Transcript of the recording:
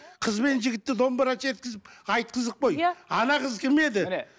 қыз бен жігітті домбыра шерткізіп айтқызып қой иә қыз кім еді міне